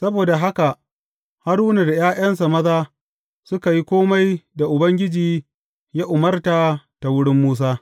Saboda haka Haruna da ’ya’yansa maza suka yi kome da Ubangiji ya umarta ta wurin Musa.